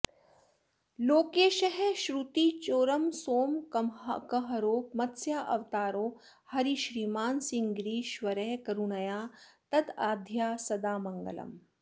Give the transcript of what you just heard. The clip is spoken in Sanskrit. लोकेशः श्रुतिचोरसोमकहरो मत्स्यावतारो हरिः श्रीमान् सिंहगिरीश्वरः करुणया दद्यात्सदा मङ्गलम्